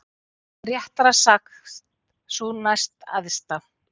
Réttara sagt sú næstæðsta.